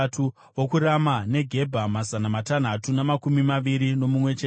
vokuRama neGebha, mazana matanhatu namakumi maviri nomumwe chete;